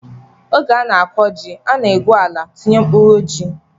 Oge a na-akọ ji, a na-egwu ala, tinye mkpụrụ ji